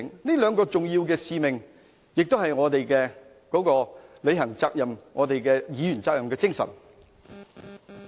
這兩個重要的使命是我們履行議員責任的精神。